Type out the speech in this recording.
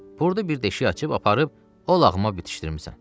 Burda bir deşik açıb aparıb, o lağıma bitişdirmisən.